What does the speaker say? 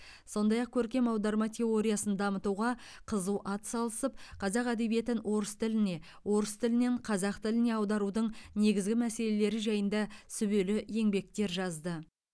сондай ақ көркем аударма теориясын дамытуға қызу ат салысып қазақ әдебиетін орыс тіліне орыс тілінен қазақ тіліне аударудың негізгі мәселелері жайында сүбелі еңбектер жазды